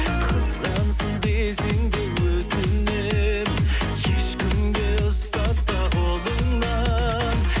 қызғансын десең де өтінем ешкімге ұстатпа қолыңнан